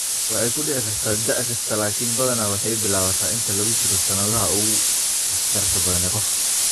Waxay ku dhici kartaa da' kasta, laakiin badanaa waxay bilaabataa inta lagu jiro sannadaha ugu waxtarka badan ee qofka.